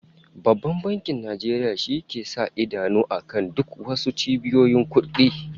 Babban Bankin Nigeria shi ke sa idanu akan duk was cibiyoyin kudi